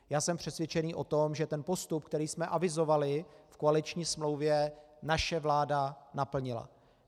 Já jsem přesvědčený o tom, že ten postup, který jsme avizovali v koaliční smlouvě, naše vláda naplnila.